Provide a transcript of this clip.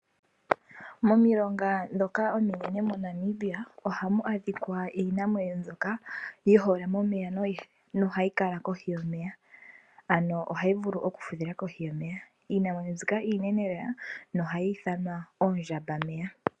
Momilonga ndhoka ominene moNamibia ohamu adhikwa iinamwenyo mbyoka yihole momeya noyi hole nohayi kala kohi yomeya, ohayi vulu okufudhila kohi yomeya. Iinamwenyo mbikaiinene lela nohai ithanwa oondjamba meya.